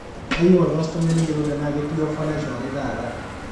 keyieu olkastomai neyolou tenaa ketii ofa naishoori taata